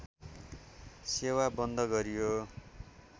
सेवा बन्द गरियो